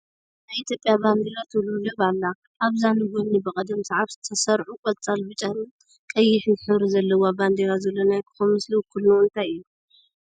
ናይ ኢትዮጵያ ባንዲራ ትውልብለብ ኣላ፡፡ አብዛ ንጐኒ ብቕደም ሰዓብ ዝተሰርዑ ቆፃል፣ ብጫን ቀጥሕን ሕብሪ ዘለዉዋ ባንዲራ ዘሎ ናይ ኮኸብ ምስሊ ውክልንኡ እንታይ እዩ?